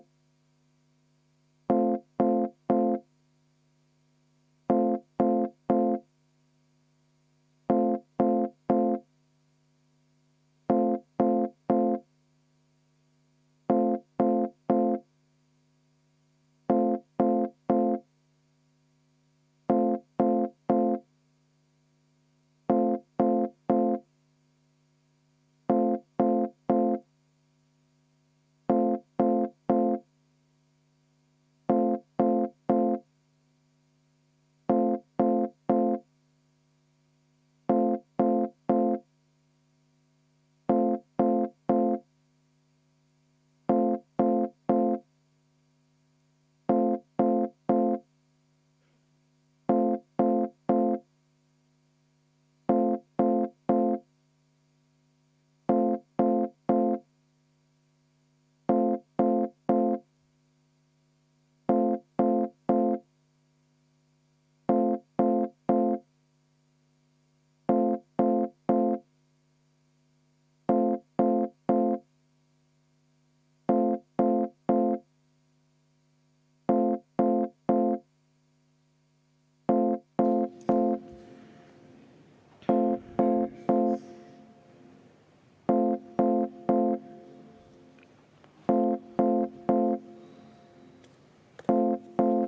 V a h e a e g